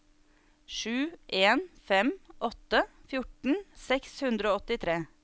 sju en fem åtte fjorten seks hundre og åttitre